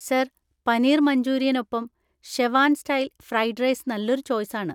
Sir, paneer മഞ്ചൂരിയനൊപ്പം Schezwan style fried rice നല്ലൊരു ചോയ്‌സാണ്.